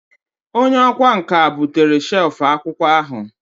Onye ọkwá nkà bụtere shelf akwụkwọ ahụ